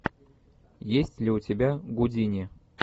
есть ли у тебя гудини